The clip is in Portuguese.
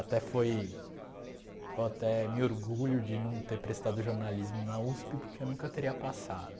Até foi... Eu até me orgulho de não ter prestado jornalismo na USP, porque eu nunca teria passado.